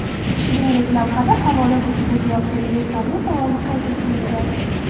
Shuningdek, lavhada havodan uchib o‘tayotgan vertolyot ovozi qayd qilingan.